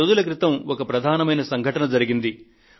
కొద్ది రోజుల క్రితం ఒక ప్రధానమైన సంఘటన జరిగింది